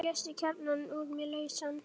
Svo léstu kjarnann úr mér lausan.